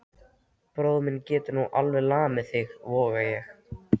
Bróðir minn getur nú alveg lamið þig, voga ég.